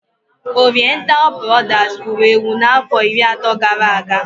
Oriental brodas wuru ewu n'afọ iri atọ gara aga